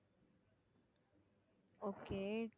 okay